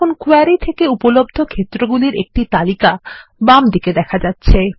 এখন কোয়েরি থেকে উপলব্ধ ক্ষেত্রগুলির একটিতালিকা বাম দিকেদেখা যাচ্ছে